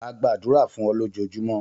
A gbadura fun o lojojumo.